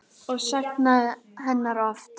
Og saknaði hennar oft.